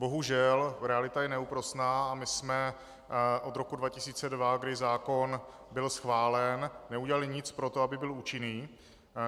Bohužel realita je neúprosná a my jsme od roku 2002, kdy zákon byl schválen, neudělali nic pro to, aby byl účinný.